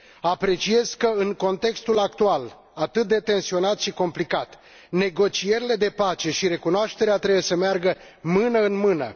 Apreciez că, în contextul actual, atât de tensionat și complicat, negocierile de pace și recunoașterea trebuie să meargă mână în mână.